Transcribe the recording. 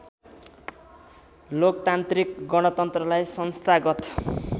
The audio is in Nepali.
लोकतान्त्रिक गणतन्त्रलाई संस्थागत